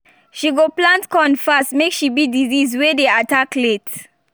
she go plant corn fast make she beat disease way dey attack late